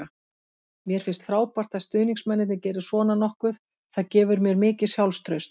Mér finnst frábært að stuðningsmennirnir geri svona nokkuð, það gefur mér mikið sjálfstraust.